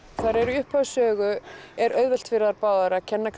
í upphafi er auðvelt fyrir þær báðar að kenna